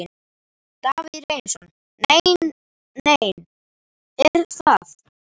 Davíð Reynisson: Nei nein, er það?